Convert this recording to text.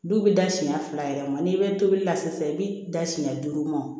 Du bɛ da siɲɛ fila yɛrɛ ma n'i bɛ tobili la sisan i bɛ da siɲɛ duuru ma